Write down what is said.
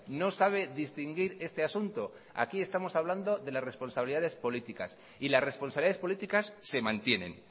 no sabe distinguir este asunto aquí estamos hablando de las responsabilidades políticas y las responsabilidades políticas se mantienen